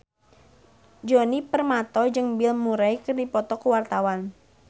Djoni Permato jeung Bill Murray keur dipoto ku wartawan